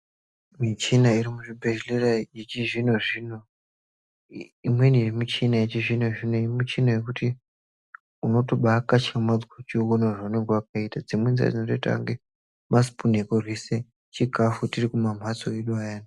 Muchina irimuzvibhedhlera yechizvinozvino imweni yemuchina yechizvino zvino muchina yekuti unotoba akatyamadza uchiona zvaanenge wakaita. Dzimweni dzacho dzakaita ingatei masipunu ekuryisa chikafu tiri kumamphatso edu aya.